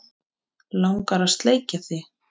Mig langar að sleikja þig.